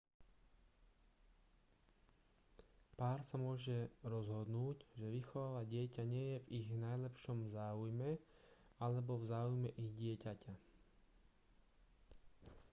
pár sa môže rozhodnúť že vychovávať dieťa nie je v ich najlepšom záujme alebo v záujme ich dieťaťa